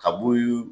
Ka b'u